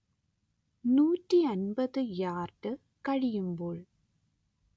നൂറ്റി അന്‍പത്ത് യാർഡ് കഴിയുമ്പോൾ